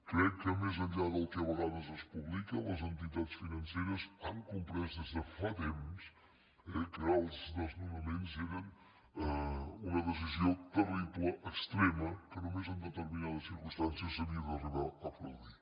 crec que més enllà del que a vegades es publica les entitats financeres han comprès des de fa temps eh que els desnonaments eren una decisió terrible extrema que només en determinades circumstàncies s’havia d’arribar a produir